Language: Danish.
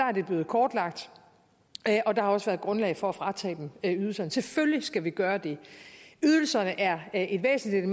er det blevet kortlagt og der har også været grundlag for at fratage dem ydelserne selvfølgelig skal vi gøre det ydelserne er et væsentligt